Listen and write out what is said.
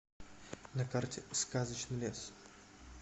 на карте сказочный лес